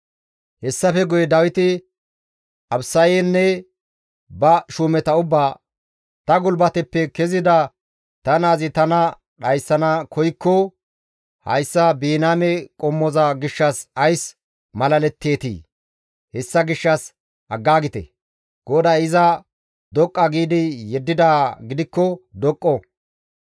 Hessafe guye Dawiti Abisayenne ba shuumeta ubbaa, «Ta gulbateppe kezida ta naazi tana dhayssana koykko, hayssa Biniyaame qommoza gishshas ays malaletteetii? Hessa gishshas aggaagite! GODAY iza doqqa giidi yeddidaa gidikko doqqo.